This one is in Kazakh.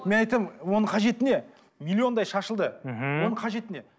мен айтамын оның қажеті не миллиондай шашылды мхм оның қажеті не